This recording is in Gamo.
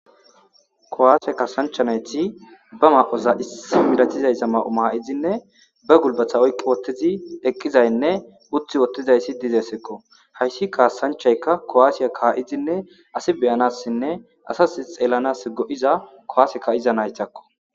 Kowaasiya kasanchanayti ba ma'oza issi miratizayza ma'o maa7izinne ba gulbatha oyqqi wottizi eqqizaynne uthi wottizayssi dizeesekko hayssi kaasanchaykka kowaasiya ka'izinne asi beyanassinne asas xeellanas go'iza kowaaseka iza naytakko.